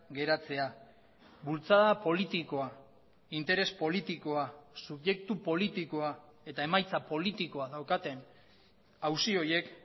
geratzea bultzada politikoa interes politikoa subjektu politikoa eta emaitza politikoa daukaten auzi horiek